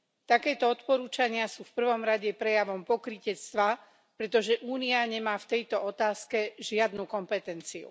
Takéto odporúčania sú v prvom rade prejavom pokrytectva, pretože Únia nemá v tejto otázke žiadnu kompetenciu.